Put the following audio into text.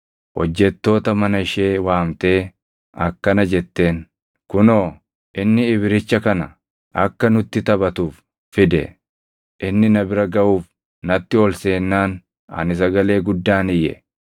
hojjettoota mana ishee waamtee akkana jetteen; “Kunoo, inni Ibricha kana akka nutti taphatuuf fide! Inni na bira gaʼuuf natti ol seennaan ani sagalee guddaan iyye.